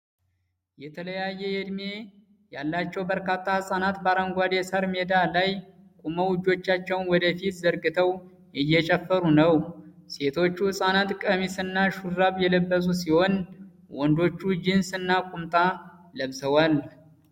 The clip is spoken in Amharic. የተለያየ ዕድሜ ያላቸው በርካታ ህጻናት በአረንጓዴ የሣር ሜዳ ላይ ቆመው እጆቻቸውን ወደ ፊት ዘርግተው እየጨፈሩ ነው። ሴቶቹ ህጻናት ቀሚስና ሹራብ የለበሱ ሲሆን፣ ወንዶቹ ጂንስ እና ቁምጣ ለብሰዋል።